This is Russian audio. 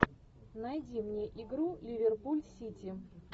найди мне игру ливерпуль сити